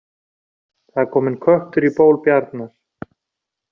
Það er kominn köttur í ból bjarnar